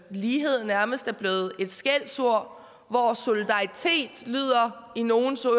lighed nærmest er blevet et skældsord hvor solidaritet i nogles ører